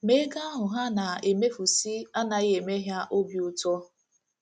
Ma ego ahụ ha na - emefusị anaghị eme ha obi ụtọ.